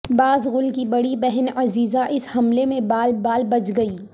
باس گل کی بڑی بہن عزیزہ اس حملے میں بال بال بچ گئی